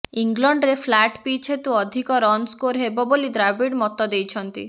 ଇଂଲଣ୍ଡରେ flat pitch ହେତୁ ଅଧିକ ରନ୍ ସ୍କୋର ହେବ ବୋଲି ଦ୍ରାବିଡ଼ ମତ ଦେଇଛନ୍ତି